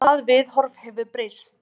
Og það viðhorf hefur breyst.